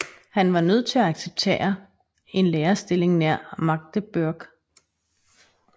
Han var nødt til at acceptere en lærerstilling nær Magdeburg